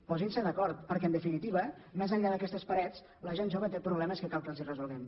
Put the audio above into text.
posin se d’acord perquè en definitiva més enllà d’aquestes parets la gent jove té problemes que cal que els resolguem